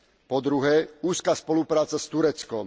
Po druhé, úzka spolupráca s Tureckom.